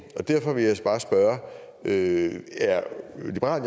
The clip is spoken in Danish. og derfor vil jeg at det at